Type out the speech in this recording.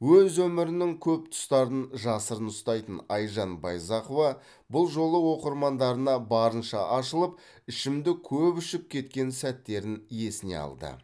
өз өмірінің көп тұстарын жасырын ұстайтын айжан байзақова бұл жолы оқырмандарына барынша ашылып ішімдік көп ішіп кеткен сәттерін есіне алды